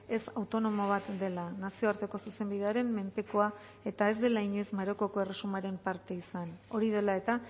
ez autonomo bat dela nazioarteko zuzenbidearen menpekoa eta ez dela inoiz marokoko erresumaren parte izan hori dela eta